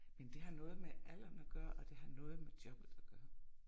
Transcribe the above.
Men det har noget med alderen at gøre og det har noget med jobbet at gøre